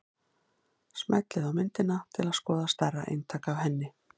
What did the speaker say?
Smellið á myndina til að skoða stærra eintak af henni.